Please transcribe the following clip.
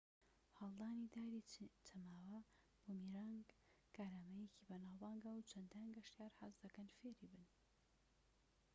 هەڵدانی داری چەماوە بوومیرانگ کارامەییەکەی بەناوبانگە و چەندان گەشتیار حەزدەکەن فێری ببن